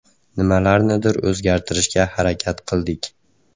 Nimalarnidir o‘zgartirishga harakat qildik.